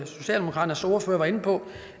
socialdemokraternes ordfører var inde på